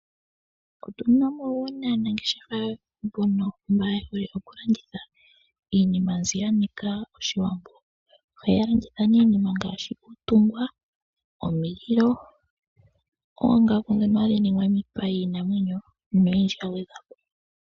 Otuna aanangeshefa mbono yehole okulanditha iinima mbyoka yanika Oshiwambo . Ohaya landitha iinima ngaashi uutungwa, iililo , oongaku ndhono hadhi ningwa miipa yiinanwenyo noyindji yagwedhwapo.